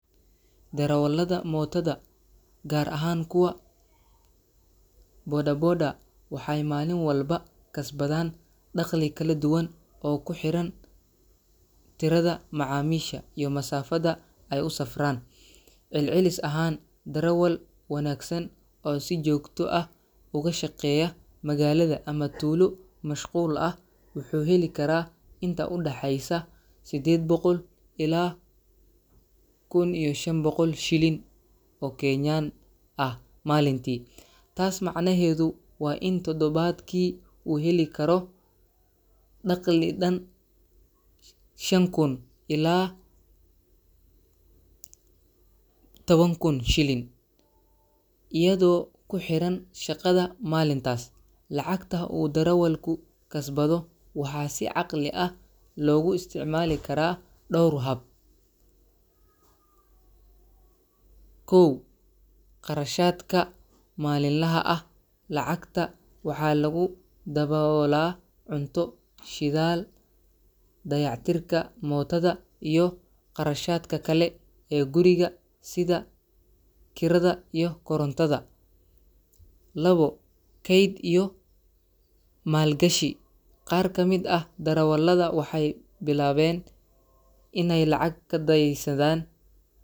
Darawallada mootada, gaar ahaan kuwa bodaboda, waxay maalin walba kasbadaan dakhli kala duwan oo ku xiran tirada macaamiisha iyo masaafada ay u safraan. Celcelis ahaan, darawal wanaagsan oo si joogto ah uga shaqeeya magaalada ama tuulo mashquul ah wuxuu heli karaa inta u dhaxaysa 800 ilaa 1500 shilin oo Kenyan ah maalintii. Taas macnaheedu waa in toddobaadkii uu heli karo dakhli dhan 5000 ilaa 10000 shilin, iyadoo ku xiran shaqada maalintaas. Lacagta uu darawalku kasbado waxaa si caqli ah loogu isticmaali karaa dhowr hab: Kharashaadka Maalinlaha ah – Lacagta waxaa lagu daboolaa cunto, shidaal, dayactirka mootada iyo kharashaadka kale ee guriga sida kirada iyo korontada. Kayd iyo Maalgashi – Qaar ka mid ah darawallada waxay bilaabeen inay lacag kadaysadaan.